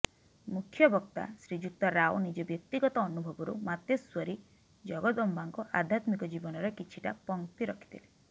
ମୁଖ୍ୟବକ୍ତା ଶ୍ରୀଯୁକ୍ତ ରାଓ ନିଜ ବ୍ୟକ୍ତିଗତ ଅନୁଭବରୁ ମାତେଶ୍ୱରୀ ଜଗଦମ୍ବାଙ୍କ ଆଧ୍ୟାତ୍ମିକ ଜୀବନର କିଛିଟା ଫକ୍ତି ରଖିଥିଲେ